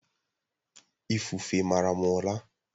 Ifufe mara m ụla